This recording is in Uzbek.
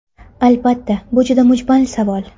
Albatta, bu juda mujmal savol.